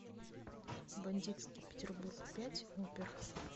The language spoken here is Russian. бандитский петербург пять опер